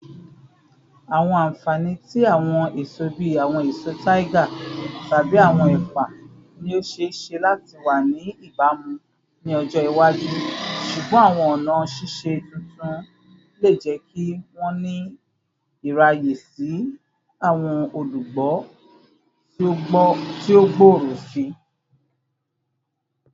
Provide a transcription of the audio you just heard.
Awọn anfani ti awọn eso bii awọn eso tiger tabi awọn ẹpa ni o ṣee ṣe lati wa ni ibamu ni ọjọ iwaju, ṣugbọn awọn ọna ṣiṣe tuntun le jẹ ki wọn ni iraye si si awọn olugbo ti o gbooro sii.